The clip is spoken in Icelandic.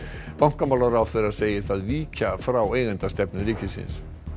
bankamálaráðherra segir það víkja frá eigendastefnu ríkisins